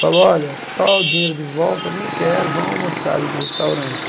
Falou, olha, toma o dinheiro de volta, nem quero, vão almoçar ali no restaurante.